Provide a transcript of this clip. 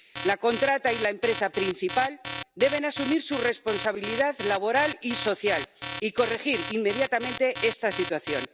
La contrata y la empresa principal deben asumir su responsabilidad laboral y social, y corregir inmediatamente esta situación.